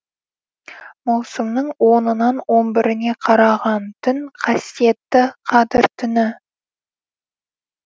маусымның онынан он біріне қараған түн қасиетті қадір түні